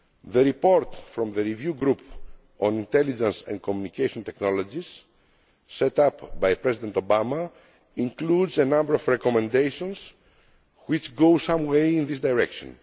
The report from the Review Group on Intelligence and Communication Technologies set up by President Obama includes a number of recommendations which go some way in this direction.